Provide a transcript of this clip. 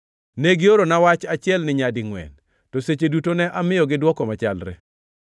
Ne giorona wach achielni nyadingʼwen, to seche duto ne amiyogi dwoko machalre.